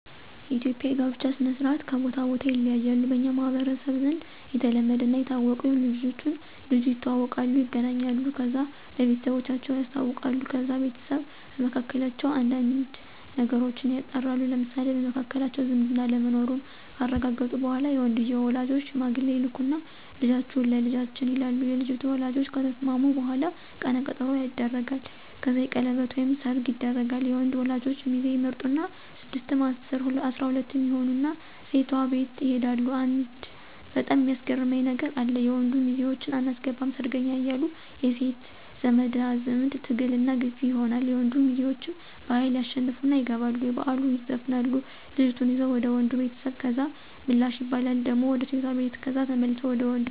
የኢትዩጵያ የጋብቻ ስነ-ስርአት ከቦታ ቦታ ይለያያሉ። በኛ ማህበረሰብ ዘንድ የተለመደና የታወቀው ልጅቱና ልጁ ይተዋወቃሉ ይገናኛሉ። ከዛ ለቤተሰባቸው ያሳውቃሉ። ከዛ ቤተሰብ በመካከላቸው አንዳንድ ነገሮችን ያጣራሉ ለምሳሌ፣ በመካከላቸው ዝምድና አለመኖሩን ካረጋገጡ በኋላ የወንድየው ወላጆች ሽማግሌ ይልኩና ልጃችሁ ለልጃችን ይሉና የልጅቷ ወላጆች ከተስማሙ በኋላ ቀነ ቀጠሮ ይደረጋል። ከዛ የቀለበት ወይም ሰርግ ይደረጋል። የወንድ ወላጆች ሚዜ ይመርጡና ስድስትም አስራ ሁለትም ይሆኑና ሴቷ ቤት ይሄዳሉ አንድ በጣም ሚያስገርመኝ ነገር አለ። የወንድ ሚዜወችን አናስገባም ሰርገኛ እያሉ የሴት ዘመዳዝማ ትግልና ግፊ ይኖራል የወንድ ሚዘወችም በሀይል ያሸንፉና ይገባሉ የበላሉ ይዘፍናሉ ልጅቷን ይዘው ወደ ወንዱ ቤተሰብ ከዛ ምላሽ ይባላል ደሞ ወደ ሴቷ ቤት ከዛ ተመልሰው ወንዱ ቤት ትዳር መስረተው ይኖራሉ።